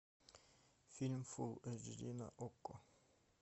фильм фул эйч ди на окко